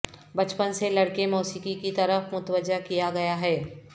بچپن سے لڑکے موسیقی کی طرف متوجہ کیا گیا ہے